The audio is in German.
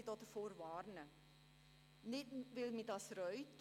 Ich möchte davor warnen, nicht weil mich das Geld reut.